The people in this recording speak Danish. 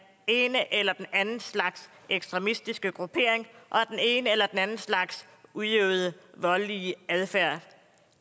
ene eller anden slags ekstremistiske gruppering og den ene eller anden slags udøvede voldelige adfærd